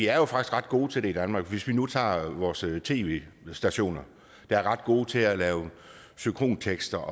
er ret gode til det i danmark hvis vi nu tager vores tv stationer der er ret gode til at lave synkrone tekster